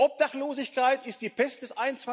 Obdachlosigkeit ist die Pest des